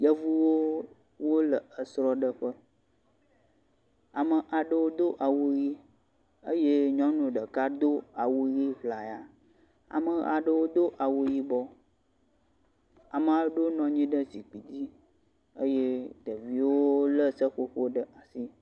Yevuwo wole esrɔ̃ɖe ƒe, ame aɖewo do awu ɣi eye nyɔnu ɖeka do awu ɣi ʋlaya, ame aɖewo do awu yibɔ, ame aɖewo nɔ nyi ɖe zikpi dzi eye ɖeviwo le seƒoƒo ɖe asi.